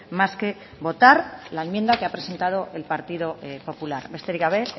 más que votar la enmienda que ha presentado el partido popular besterik gabe